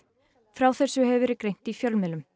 frá þessu hefur verið greint í fjölmiðlum